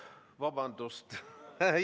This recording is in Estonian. Vabandust!